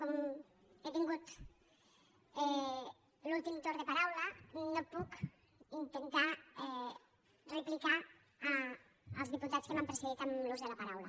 com he tingut l’últim torn de paraula no puc intentar replicar els diputats que m’han precedit en l’ús de la paraula